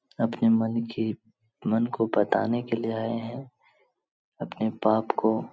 अपने मन की मन को बताने के लिए आए हैं अपने पाप को --